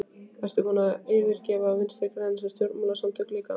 Ertu búinn að yfirgefa Vinstri-græna sem stjórnmálasamtök líka?